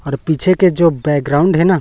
और पीछे के जो बैकग्राउंड है ना--